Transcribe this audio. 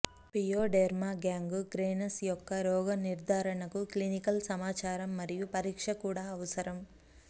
pyoderma gangrenous యొక్క రోగ నిర్ధారణకు క్లినికల్ సమాచారం మరియు పరీక్ష కూడా అవసరం